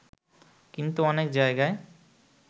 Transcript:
কিন্তু অনেক জায়গায়